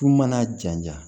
K'u mana jaja